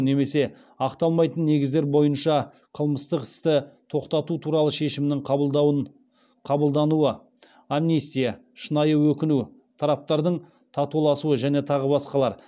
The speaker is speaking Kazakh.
немесе ақталмайтын негіздер бойынша қылмыстық істі тоқтату туралы шешімнің қабылдануы